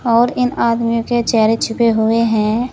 और इन आदमियों के चेहरे छुपे हुए हैं।